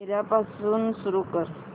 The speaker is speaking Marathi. पहिल्यापासून सुरू कर